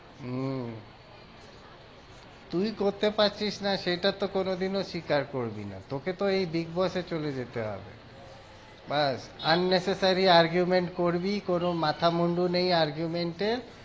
উম তুই করতে পারছিস না সেটাতো কোনোদিনও স্বীকার করবি না, তোকে তো এই big boss এ চলে যেতে হবে ব্যাস unnecessary argument করবি কোনো মাথামুন্ডু নেই argument এর